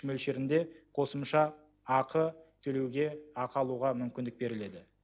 мөлшерінде қосымша ақы төлеуге ақы алуға мүмкіндік беріледі